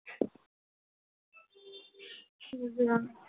বুঝলাম।